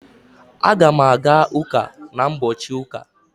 Aga m aga ụka na ụbọchị ụka